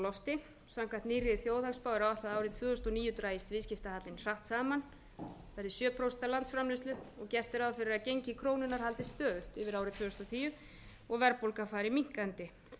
lofti samkvæmt nýrri þjóðhagsspá er áætlað að árið tvö þúsund og níu dragist viðskiptahallinn hratt saman verði sjö prósent af landsframleiðslu og gert er ráð fyrir að gengi krónunnar haldist stöðugt yfir árið tvö þúsund og tíu og verðbólgan fari minnkandi